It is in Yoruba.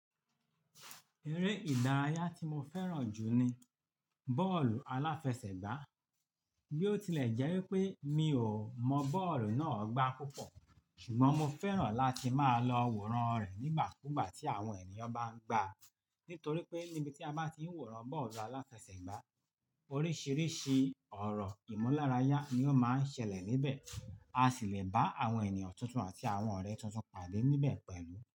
Eré ìdárayá tí mo fẹ́ràn jù ni bọ́ọ̀lù aláfẹsẹ̀gbá. Bí ó tilẹ̀ jẹ́ wípé mi ò mọ bọ́ọ̀lù náà gbá púpọ̀, ṣùgbọ́n mo fẹ́ràn láti máa lọ wòran rẹ̀ nígbà kúgbà tí àwọn ènìyàn bá ń gbá á. Nítorí pé níbi tí a bá ti ń wòran bọ́ọ̀lù aláfẹsẹ̀gbá, oríṣìíríṣìí ọ̀rọ̀ ìmúlárayá ni ó máa ń ṣẹlẹ̀ níbẹ̀. A sì le bá àwọn ènìyàn tuntun àti àwọn ọ̀rẹ́ tuntun pàdé níbẹ̀ pẹ̀lú.